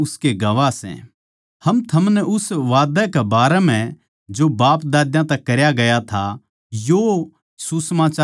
हम थमनै उस वादा कै बारै म्ह जो बापदाद्या तै करया गया था यो सुसमाचार सुणावां सां